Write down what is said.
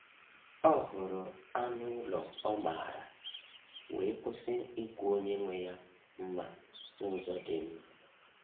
Ọ hụrụ anụ ụlọ ọ maara, wee kwụsị ikwu onye nwe ya mma n’ụzọ dị mma.